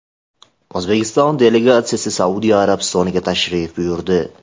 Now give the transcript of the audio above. O‘zbekiston delegatsiyasi Saudiya Arabistoniga tashrif buyurdi.